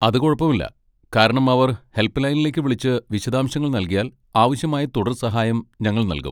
അത് കുഴപ്പമില്ല, കാരണം അവർ ഹെൽപ്പ് ലൈനിലേക്ക് വിളിച്ച് വിശദാംശങ്ങൾ നൽകിയാൽ, ആവശ്യമായ തുടർ സഹായം ഞങ്ങൾ നൽകും.